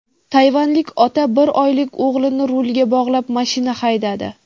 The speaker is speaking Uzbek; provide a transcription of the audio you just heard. Tayvanlik ota bir oylik o‘g‘lini rulga bog‘lab mashina haydadi .